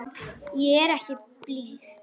Ég er ekki blíð.